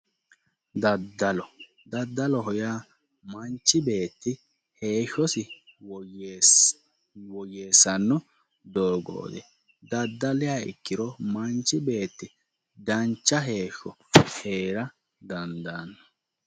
Daddaloho yaa manchi beetti heeshshosi woyyeessanno doogoti daddaliha ikkiro manchi beetti dancha heeshsho heera dandaano